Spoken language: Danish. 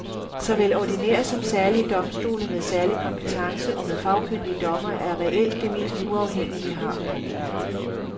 Såvel ordinære som særlige domstole med særlig kompetence og med fagkyndige dommere er reelt det mest uafhængige vi har. punktum